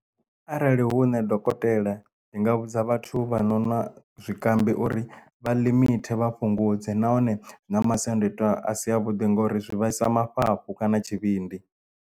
Arali hu nṋe dokotela ndi nga vhudza vhathu vha no nwa zwikambi uri vha limite vha fhungudze nahone zwi na masiandoitwa a si a vhuḓi ngori zwi vhaisa mafhafhu kana tshivhindi.